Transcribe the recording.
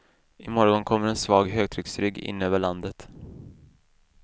I morgon kommer en svag högtrycksrygg in över landet.